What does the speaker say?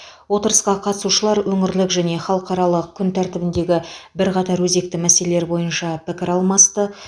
отырысқа қатысушылар өңірлік және халықаралық күн тәртібіндегі бірқатар өзекті мәселелер бойынша пікір алмасты